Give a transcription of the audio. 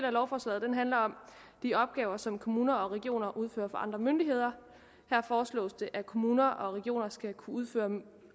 af lovforslaget handler om de opgaver som kommuner og regioner udfører for andre myndigheder her foreslås det at kommuner og regioner skal kunne udføre